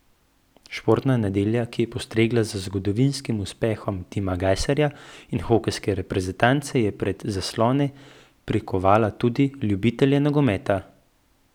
Športna nedelja, ki je postregla z zgodovinskim uspehom Tima Gajserja in hokejske reprezentance, je pred zaslone prikovala tudi ljubitelje nogometa.